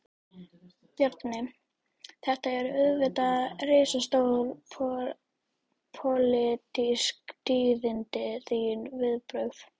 Bjarni, þetta eru auðvitað risastór, pólitísk tíðindi, þín viðbrögð?